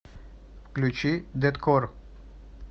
включи дэткор